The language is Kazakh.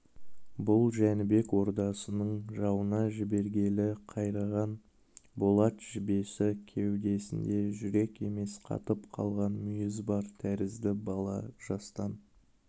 бұл жәнібек ордасының жауына жібергелі қайраған болат жебесі кеудесінде жүрек емес қатып қалған мүйіз бар тәрізді бала жастан